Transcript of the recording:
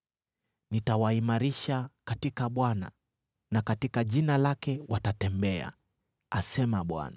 Nitawaimarisha katika Bwana , na katika jina lake watatembea,” asema Bwana .